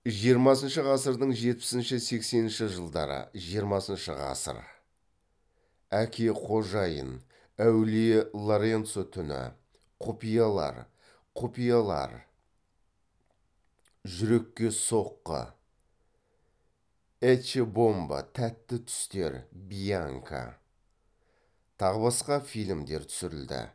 жиырмасыншы ғасырдың жетпісінші сексенінші жылдары жиырмасыншы ғасыр әке қожайын әулие лоренцо түні құпиялар құпиялар жүрекке соққы эчче бомбо тәтті түстер бьянка тағы басқа фильмдер түсірілді